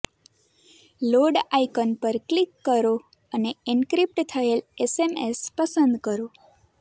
load icon પર click કરો અને એનક્રિપ્ટ થયેલ એસએએમ પસંદ કરો